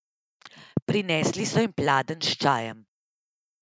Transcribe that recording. Prinesli so jima pladenj s čajem.